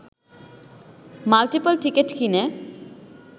multiple ticket কিনে